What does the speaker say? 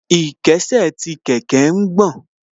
Ìkésè sí kẹ̀kẹ́ ń gbọ̀n